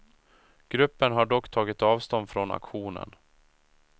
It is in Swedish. Gruppen har dock tagit avstånd från aktionen.